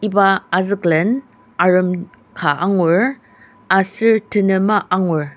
iba azüklen arem ka angur aser tenema angur.